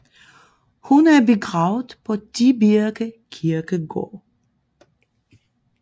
Hun er begravet på Tibirke Kirkegård